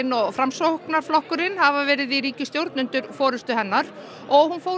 og Framsókn hafa verið saman í ríkisstjórn undir forystu hennar hún fór